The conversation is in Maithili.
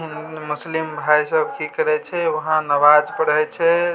मुस्लिम भाई सब की करइ छे वहा नमाज़ छे।